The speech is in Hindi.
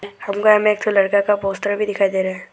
हमको यहां में एक ठो लड़का का पोस्टर भी दिखाई दे रहा है।